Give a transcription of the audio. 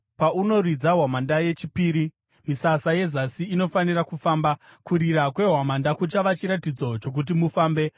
Paunoridza hwamanda yechipiri, misasa yezasi inofanira kufamba. Kurira kwehwamanda kuchava chiratidzo chokuti mufambe.